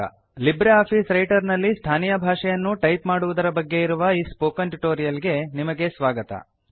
Libre office Writer ನಲ್ಲಿ ಸ್ಥಾನೀಯ ಭಾಷೆಯನ್ನು ಟೈಪ್ ಮಾಡುವುದರ ಬಗ್ಗೆ ಇರುವ ಈ ಸ್ಪೋಕನ್ ಟ್ಯುಟೋರಿಯಲ್ ಗೆ ನಿಮಗೆ ಸ್ವಾಗತ